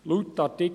Laut Artikel 142f